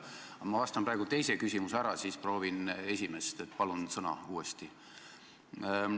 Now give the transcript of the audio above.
Aga ma esitan praegu teise küsimuse ära, siis proovin jälle esimest esitada, nii et palun uuesti sõna.